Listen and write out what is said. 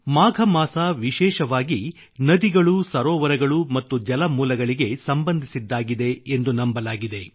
ಮಾಘ ಮಾಸ ವಿಶೇಷವಾಗಿ ನದಿಗಳು ಸರೋವರಗಳು ಮತ್ತು ಜಲಮೂಲಗಳಿಗೆ ಸಂಬಂಧಿಸಿದ್ದಾಗಿದೆ ಎಂದು ನಂಬಲಾಗಿದೆ